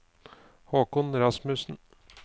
Håkon Rasmussen